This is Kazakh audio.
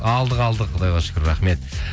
алдық алдық құдайға шүкір рахмет